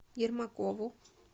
ермакову